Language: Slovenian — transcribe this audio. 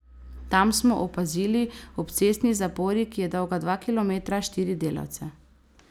Tam smo opazili ob cestni zapori, ki je dolga dva kilometra, štiri delavce.